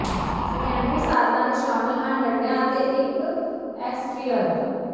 secondary ਸਾਧਨਾਂ ਵਿਚ ਸ਼ਾਮਲ ਹਨ ਡੰਡਿਆਂ ਅਤੇ ਇਕ ਐਕਸਟਰੀਅਨ